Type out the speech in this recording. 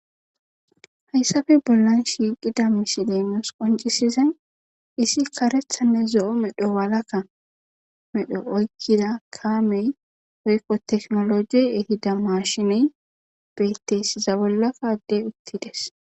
Hayssabe bollan shiiqida misileemos qoncisizan isi karethanne zo7o medho walakka medho oykkida kaamey oykqo teknolojiey ehida mashine betteysiza bollakaddey uttides.